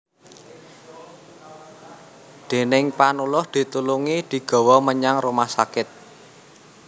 Déning Panuluh ditulungi digawa menyang rumah sakit